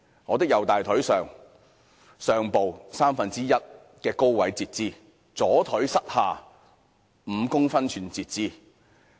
我的右大腿上部三分之一高位截肢，左腿膝下5公分處截肢。